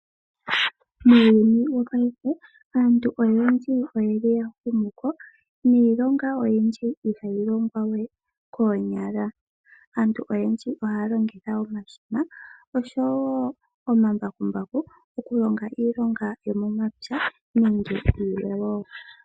Muuyuni wopayife aantu oyendji oyeli ya humu niilonga oyindji ihayi longwa we koonyala, aantu oyendji ohaya longitha omashina nomambakumbaku okulonga iilonga yomo mapya nenge yilwe.